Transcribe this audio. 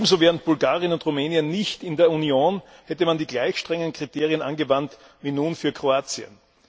Ebenso wären Bulgarien und Rumänien nicht in der Union, hätte man die gleich strengen Kriterien angewandt wie nun für Kroatien.